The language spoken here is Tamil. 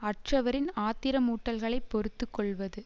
அற்றவரின் ஆத்திர மூட்டல்களைப் பொறுத்து கொள்வது